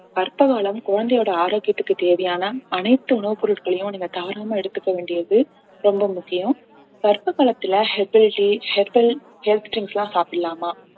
கர்ப்ப காலம் குழந்தையோட ஆரோக்கியத்துக்கு தேவையான அனைத்து உணவுப் பொருட்களையும் நீங்க தவறாம எடுத்துக்க வேண்டியது ரொம்ப முக்கியம் கர்ப்ப காலத்துல herbal tea herbal health drinks லாம் சாப்பிடலாமா